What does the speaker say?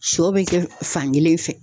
Sɔ be kɛ fankelen fɛ